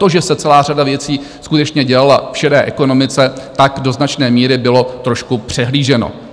To, že se celá řada věcí skutečně dělala v šedé ekonomice, tak do značné míry bylo trošku přehlíženo.